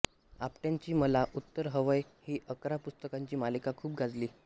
आपट्यांची मला उत्तर हवंय ही अकरा पुस्तकांची मालिका खूप गाजली